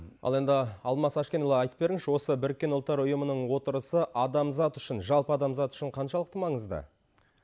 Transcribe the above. ал енді алмас әшкенұлы айтып беріңізші осы біріккен ұлттар ұйымының отырысы адамзат үшін жалпы адамзат үшін қаншалықты маңызды